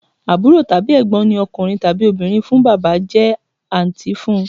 Àbúrò tàbí Ẹ̀gbọ́n ní ọkùnrin tàbí obìnrin fún Bàbá jẹ́ àǹtí fún